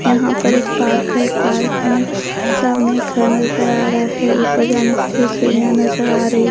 यहां पर एक पार्क है पार्क में सामने एक घर नजर आ रहा है ऊपर जाने के लिए सीढ़ियां नजर आ रही--